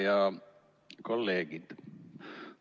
Head kolleegid!